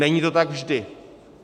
Není to tak vždy.